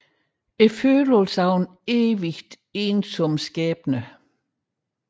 Følelsen af en evigt ensom skæbne